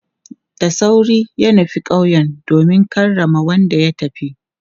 Da sauri ya nufi kauye domin karrama wanda ya tafi.